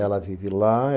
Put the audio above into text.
Ela vive lá